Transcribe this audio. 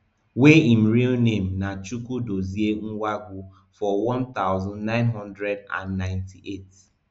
wey im real name na chukwudozie nwangwu for one thousand, nine hundred and ninety-eight